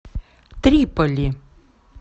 триполи